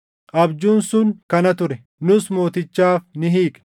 “Abjuun sun kana ture; nus mootichaaf ni hiikna.